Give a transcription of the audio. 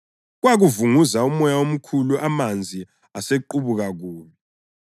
Kwakuvunguza umoya omkhulu amanzi asequbuka kubi.